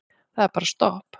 Það er bara stopp.